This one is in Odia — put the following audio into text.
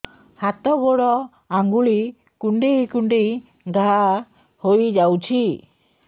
ହାତ ଗୋଡ଼ ଆଂଗୁଳି କୁଂଡେଇ କୁଂଡେଇ ଘାଆ ହୋଇଯାଉଛି